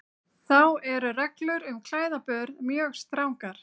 Þá eru reglur um klæðaburð mjög strangar.